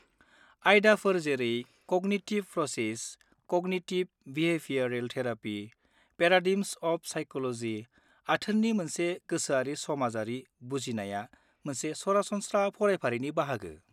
आयदाफोर जेरै cognitive process, cognitive behavioural therapy, paradigms of psychology, आथोननि मोनसे गोसोआरि-समाजारि बुजिनाया मोनसे सरासनस्रा फरायफारिनि बाहागो।